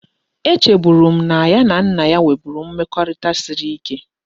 E cheburu na ya na nna ya nweburu mmekorita siri ike